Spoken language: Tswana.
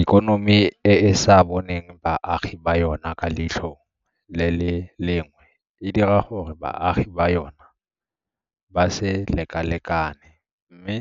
Ikonomi e e sa boneng baagi ba yona ka leitlho le le lengwe e dira gore baagi ba yona ba se lekalekane, mme